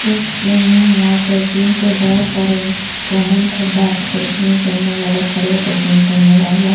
एक जिम है वहां पर जिम के बहुत सारे इंस्ट्रूमेंट है बैठ कर जिम करने वाले खड़े हो कर जिम करने वाला --